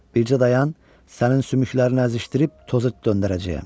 Bircə dayan, sənin sümüklərini əzişdirib toza döndərəcəyəm.